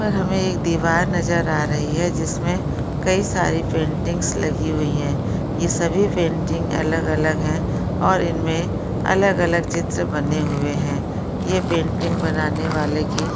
यहाँ पर हमे एक दीवार नज़र आ रही है जिसमे कई सारी पेंटिंन्ग्स लगी हुई है ये सभी पेंटिंग्स अलग अलग है और इनमे अलग अलग चित्र बने हुए है ये पेंटिंग बनाने वाले की --